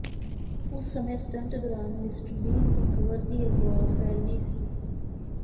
ਉਸ ਸਮੇਂ ਸਟੰਟ ਦੌਰਾਨ ਮਿਸਟਰ ਬੀਨ ਦੀ ਖ਼ਬਰ ਦੀ ਅਫਵਾਹ ਫੈਲੀ ਸੀ